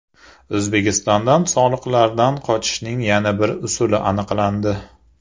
O‘zbekistondan soliqlardan qochishning yana bir usuli aniqlandi.